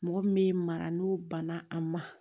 Mɔgɔ min bɛ mara n'o banna a ma